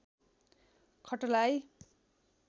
खटलाई